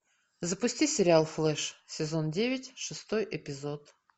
запусти сериал флэш сезон девять шестой эпизод